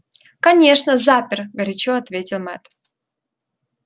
конечно запер горячо ответил мэтт